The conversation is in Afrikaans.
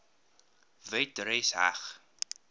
wet res heg